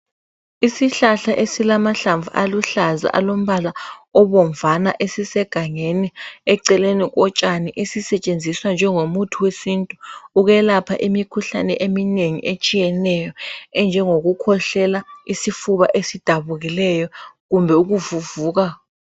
Isihlahla esilamahlamvu aluhlaza alombala obonvana sisegani eceleni kotshani esisetshenziswa njengomuthi wesintu ukwelapha imikhuhlane eminengi etshiyeneyo enjengoku khwehlela, isifuba esidabukileyo kumbe ukuvuvuka.